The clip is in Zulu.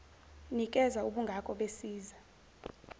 nikeza ubungako besiza